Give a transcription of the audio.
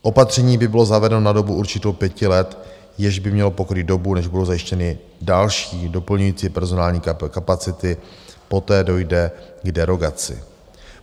Opatření by bylo zavedeno na dobu určitou pěti let, jež by mělo pokrýt dobu, než budou zajištěny další doplňující personální kapacity, poté dojde k derogaci.